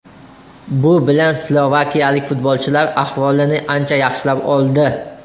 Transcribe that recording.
Bu bilan slovakiyalik futbolchilar ahvolini ancha yaxshilab oldi.